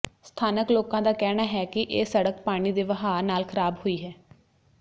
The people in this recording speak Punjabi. ਸਥਾਨਕ ਲੋਕਾਂ ਦਾ ਕਹਿਣਾ ਹੈ ਕਿ ਇਹ ਸੜਕ ਪਾਣੀ ਦੇ ਵਹਾਅ ਨਾਲ ਖ਼ਰਾਬ ਹੋਈ ਹੈ